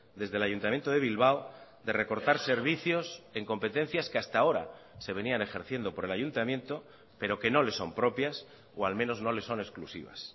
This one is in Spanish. desde el ayuntamiento de bilbao de recortar servicios en competencias que hasta ahora se venían ejerciendo por el ayuntamiento pero que no le son propias o al menos no le son exclusivas